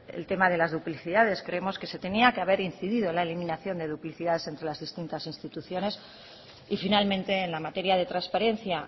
el tema de las duplicidades creemos que se tenía que haber incidido en la eliminación de duplicidades entre las distintas instituciones y finalmente en la materia de transparencia